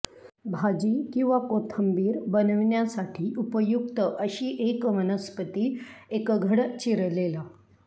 भाजी किंवा कोशिंबीर बनवण्यासाठी उपयुक्त अशी एक वनस्पती एक घड चिरलेला